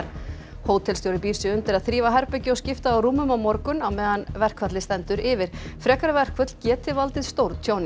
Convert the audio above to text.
hótelstjóri býr sig undir að þrífa herbergi og skipta á rúmum á morgun á meðan verkfallið stendur yfir frekari verkföll geti valdið stórtjóni